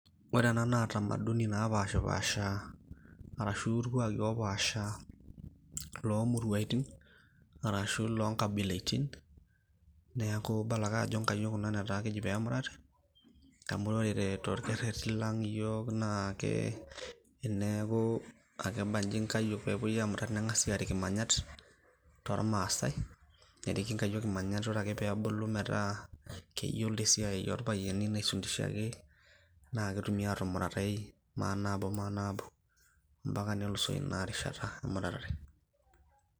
Ore ena naa tamaduni napashipasha, arashu irkuaki opaasha, lomuruaitin, arashu lonkabilaitin, neeku idol ake ajo nkayiok kuna netaa kejo pemurati, amu ore torkerrerri lang' yiok naa ke, eneeku akebaji nkayiok pepoi amurat ning'asi arik imanyat, tormaasai. Neriki nkayiok imanyat ore ake pebulu metaa keyiolo esiai orpayiani naifundishaki, na ketumi atumuratai manaabomanaabo. Mpaka nelusoo inarishata emuratare.